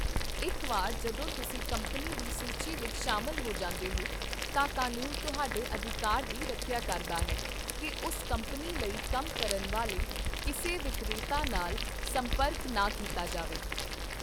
ਇੱਕ ਵਾਰ ਜਦੋਂ ਤੁਸੀਂ ਕੰਪਨੀ ਦੀ ਸੂਚੀ ਵਿੱਚ ਸ਼ਾਮਲ ਹੋ ਜਾਂਦੇ ਹੋ, ਤਾਂ ਕਾਨੂੰਨ ਤੁਹਾਡੇ ਅਧਿਕਾਰ ਦੀ ਰੱਖਿਆ ਕਰਦਾ ਹੈ ਕਿ ਉਸ ਕੰਪਨੀ ਲਈ ਕੰਮ ਕਰਨ ਵਾਲੇ ਕਿਸੇ ਵਿਕਰੇਤਾ ਨਾਲ ਸੰਪਰਕ ਨਾ ਕੀਤਾ ਜਾਵੇ।